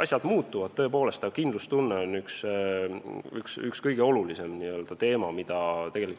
Kõik muutub, tõepoolest, aga kindlustunne on üks olulisemaid asju, mida